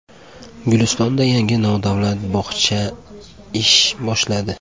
Gulistonda yangi nodavlat bog‘cha ish boshladi.